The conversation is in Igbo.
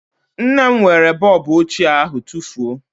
Nne m were bọọbụ ochie ahụ tufuo